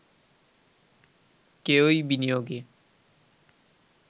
কেউই বিনিয়োগে